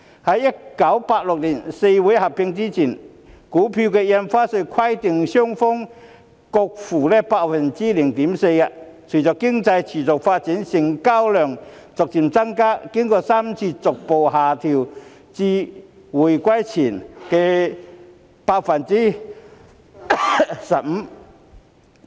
在1986年四會合併前，印花稅規定買賣雙方各付 0.4%； 隨着經濟持續發展，成交量逐漸增加，經過3次逐步下調至回歸前的 0.15%。